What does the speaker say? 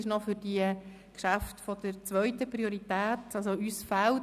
Dieses ist für Geschäfte der zweiten Priorität bestimmt.